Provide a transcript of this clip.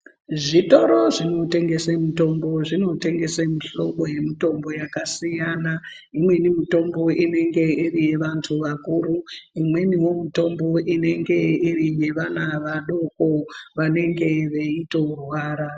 Zvitoro zvinotengese mitombo , zvinotengese mihlobo yemitombo yakasiyana. Imweni mitombo inenge iri yevantu vakuru. Imweniwo mitombo inenge iri yevana vadoko, vanenge veitorwara.